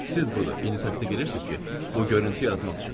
Siz budur, indi təsdiq eləyirsiz ki, bu görüntü yaratmaq üçündür.